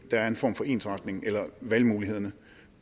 er en form for ensretning eller at valgmulighederne